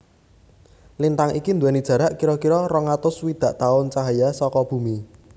Lintang iki dhuweni jarak kira kira rong atus swidak tahun cahaya saka Bumi